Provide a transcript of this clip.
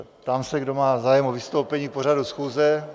Ptám se, kdo má zájem o vystoupení k pořadu schůze.